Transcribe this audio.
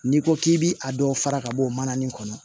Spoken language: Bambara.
N'i ko k'i bi a dɔw fara ka bɔ o mana nin kɔnɔ